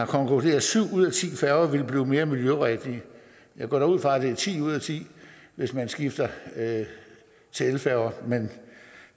konkluderer at syv ud af ti færger ville blive mere miljørigtige jeg går da ud fra at det er ti ud af ti hvis man skifter til elfærger men